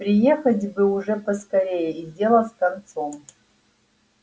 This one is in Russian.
приехать бы уж поскорее и дело с концом